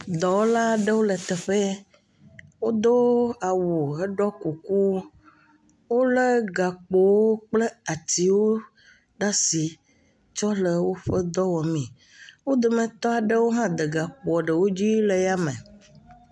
Dɔwɔla aɖewo le teƒe ye, wodo awu heɖɔ kuku, wolé gakpowo kple atiwo ɖe asi tsɔ le woƒe dɔ wɔmee, wo dometɔ aɖewo hã de gakpoɔ ɖewo dzi le yame.